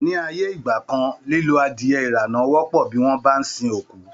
Ní ayé ìgbà kan, lílo adiẹ ìrànà wọ́pọ̀ bí wọ́n bá ń sin òkú